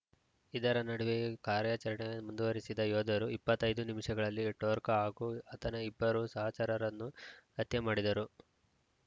ಇದರ ನಡುವೆಯೂ ಕಾರ್ಯಾಚರಣೆ ಮುಂದುವರಿಸಿದ ಯೋಧರು ಇಪ್ಪತ್ತ್ ಐದು ನಿಮಿಷಗಳಲ್ಲಿ ಠೋರ್ಕ ಹಾಗೂ ಆತನ ಇಬ್ಬರು ಸಹಚರರನ್ನು ಹತ್ಯೆ ಮಾಡಿದರು